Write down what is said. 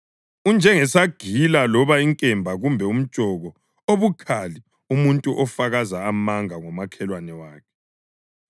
Unjengesagila loba inkemba kumbe umtshoko obukhali umuntu ofakaza amanga ngomakhelwane wakhe.